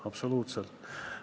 Absoluutselt!